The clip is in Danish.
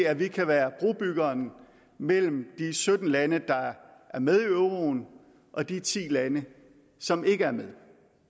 at vi kan være brobyggeren mellem de sytten lande der er med i euroen og de ti lande som ikke er med